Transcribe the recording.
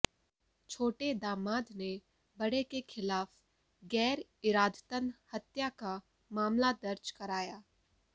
छोटे दामाद ने बड़े के खिलाफ गैरइरादतन हत्या का मामला दर्ज कराया